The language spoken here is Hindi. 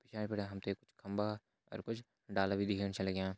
पिछाड़ी बिटिन हमतें कुछ खम्बा और कुछ डाला भी दिखेण छन लग्यां।